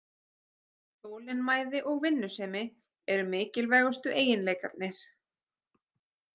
Þolinmæði og vinnusemi eru mikilvægustu eiginleikarnir